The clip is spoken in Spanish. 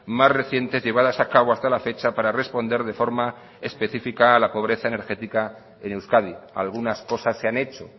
más recientes llevadas a cabo hasta la fecha para responder de forma especifica a la pobreza energética en euskadi algunas cosas se han hecho